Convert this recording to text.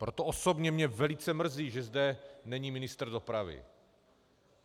Proto osobně mě velice mrzí, že zde není ministr dopravy.